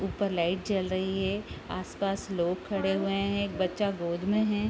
ऊपर लाइट जल रही है आसपास लोग खड़े हुए हैं एक बच्चा गोद में है।